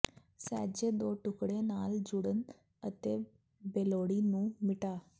ਸਹਿਜੇ ਦੋ ਟੁਕੜੇ ਨਾਲ ਜੁੜਨ ਅਤੇ ਬੇਲੋੜੀ ਨੂੰ ਮਿਟਾ